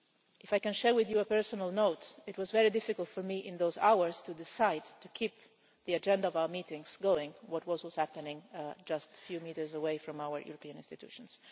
If I can share with you on a personal note, it was very difficult for me in those hours to decide to keep the agenda of our meetings going with what was happening just a few metres away from our European institutions.